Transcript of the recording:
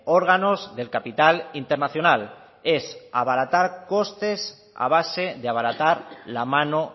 órganos del capital internacional es abaratar costes a base de abaratar la mano